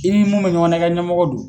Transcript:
I ni mun bɛ ɲɔgɔn na i kɛ ɲɛmɔgɔ don.